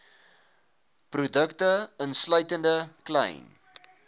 produkte insluitende klein